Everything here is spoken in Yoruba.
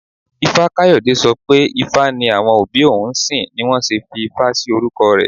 Ifá-Kayode sọ pé ifá ni àwọn òbí òun ń sìn ni wón ṣe fi Ifá sí orúkọ rẹ̀.